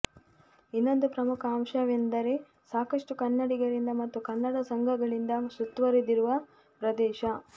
ಇನ್ನೊಂದು ಪ್ರಮುಖ ಅಂಶವೆಂದರೆ ಸಾಕಷ್ಟು ಕನ್ನಡಿಗರಿಂದ ಮತ್ತು ಕನ್ನಡ ಸಂಘಗಳಿಂದ ಸುತ್ತುವರಿದಿರುವ ಪ್ರದೇಶ